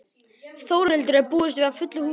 Þórhildur, er búist við fullu húsi?